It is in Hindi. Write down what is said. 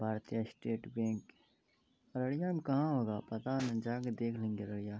भारतीय स्टेट बैंक अड़ड़ियां पता नहीं जा के देख लेंगे अड़ड़ियां ।